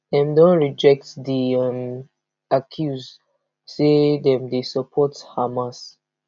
dem don reject di um accuse say dem support hamas